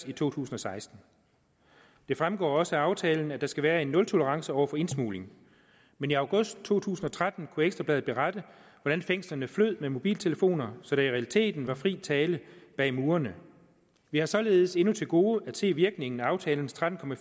i to tusind og seksten det fremgår også af aftalen at der skal være en nultolerance over for indsmugling men i august to tusind og tretten kunne ekstra bladet berette hvordan fængslerne flød med mobiltelefoner så der i realiteten var fri tale bag murene vi har således endnu til gode at se virkningen af aftalens tretten